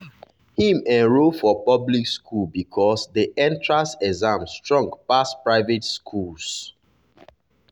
him enroll for public school because the entrance exam strong pass private schools.